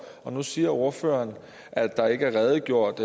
nu siger ordføreren at der ikke er redegjort